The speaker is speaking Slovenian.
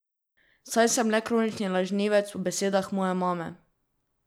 Saj sem le kronični lažnivec po besedah moje mame.